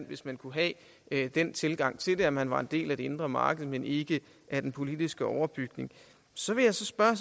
hvis man kunne have den tilgang til det at man var en del af det indre marked men ikke af den politiske overbygning så vil jeg så spørge